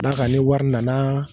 Ka dan ka ni wari nana